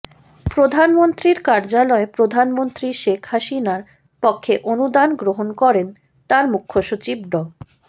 প্রধানমন্ত্রীর কার্যালয়ে প্রধানমন্ত্রী শেখ হাসিনার পক্ষে অনুদান গ্রহণ করেন তাঁর মুখ্যসচিব ড